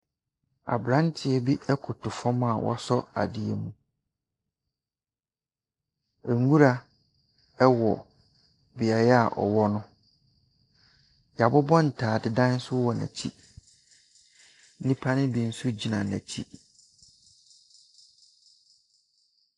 Aberanteɛ bi koto fam a wasɔ adeɛ mu. Nwura wɔ beaeɛ a ɔwɔ no. Wɔabobɔ ntaabodan nso wɔ n'akyi. Nnipa no bi nso gyina n'akyi.